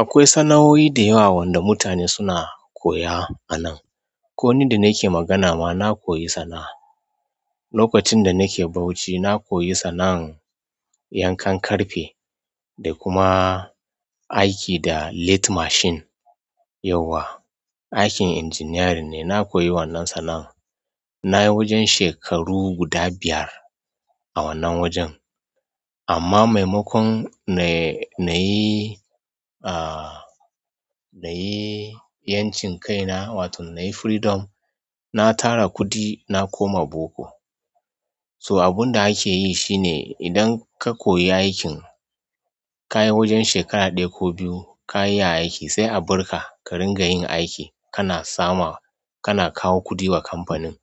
Akwai sana'o'i dayawa wanda mutane suna koya a nan. Ko ni da nake magana ma na koyi sana'a. Lokacin da nake Bauchi, na koyi sanan yankan ƙarfe da kuma aiki da lathe machine. Yauwa, aikin injiniyarin ne. Na koyi wannan sana'an na yi wajen shekaru guda biyar a wannan wajen. Amma maimakon na yi, ah, na yi 'yancin kai na, wato na yi freedom, na tara kuɗi na koma boko. So abun da ake yi shine idan ka koyi aikin, ka yi wajen shekara ɗaya ko biyu, ka yi aiki sai a barka ka ringa yin aiki. Kana sama, kana kawo kuɗi wa kamfanin.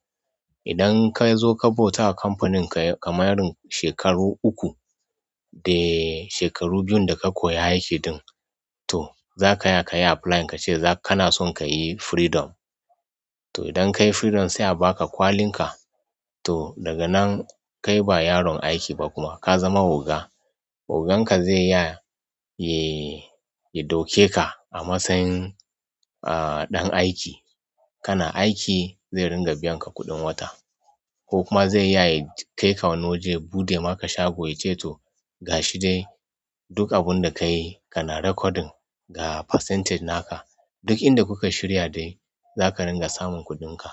Idan ka zo ka bauta wa kamfaninka kamar shekaru uku da shekaru biyun da ka koyi aikin ɗin, to za ka iya ka yi applying ka ce za kana son ka yi freedom. To idan ka yi freedom sai a ba ka kwalin ka. To daga nan kai ba yaron aiki ba kuma ka zama oga. Ogan ka zai ya yi, ya ɗauke ka a matsayin, ah, ɗan aiki. Kana aiki zai ringa biyan ka kuɗin wata. Ko kuma zai ya kai ka wani waje buɗe maka shago ya ce to gashi dai duk abun da ka yi kana recording ga percentage naka. Duk inda kuka shirya dai za ka ringa samun kuɗinka.